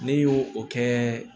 Ne y'o o kɛ